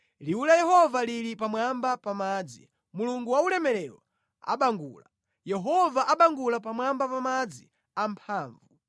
Liwu la Yehova lili pamwamba pa madzi; Mulungu waulemerero abangula, Yehova abangula pamwamba pa madzi amphamvu.